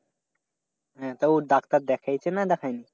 হ্যাঁ, তা ও ডাক্তার দেখাইছে না দেখাই নি?